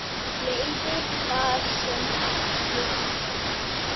Leiðir þar sem allir vinna.